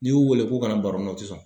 N'i y'u wele k'u ka baronin na u tɛ sɔn.